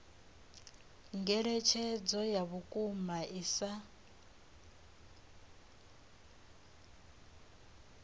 ngeletshedzo ya vhukuma i sa